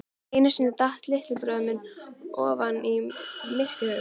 Einu sinni datt litli bróðir minn ofan í mykjuhaug.